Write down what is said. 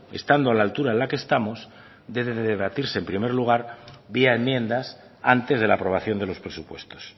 estando a la altura en la que estamos debe de debatirse en primer lugar vía enmiendas antes de la aprobación de los presupuestos